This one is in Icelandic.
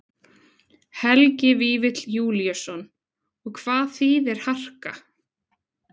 Helgi Vífill Júlíusson: Og hvað þýðir harka?